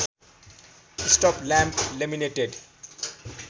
stop lamp laminated